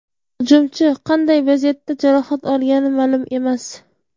Hujumchi qanday vaziyatda jarohat olgani ma’lum emas.